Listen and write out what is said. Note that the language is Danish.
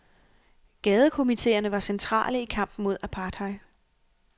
Gadekomiteerne var centrale i kampen mod apartheid.